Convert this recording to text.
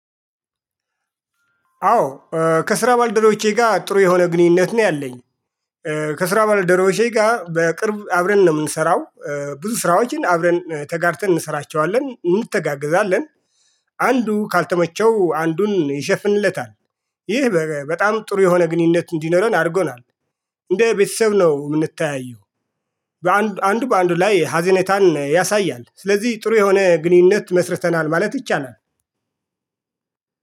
አዎ ከስራ ባልደረቦቼ ጋር ጥሩ የሆነ ግንኙነት ነው ያለኝ። ከስራ ባልደረቦቼ ጋር በቅርብ አብረን ነው የምንሰራው። ብዙ ስራዎችን አብረን ተጋርተን እንሰራቸዋለን እንተጋገዛለን። አንዱ ካልተመቸው አንዱን ይሸፍንለታል። ይህ በጣም ጥሩ የሆነ ግንኙነት እንዲኖረን አድርጎናል። እንደ ቤተሰብ ነው የምንተያየው። በአንድ አንድ በአንዱ ላይ ሀዘኔታን ያሳያል ስለዚህ ጥሩ የሆነ ግንኙነት መስርተናል ማለት ይቻላል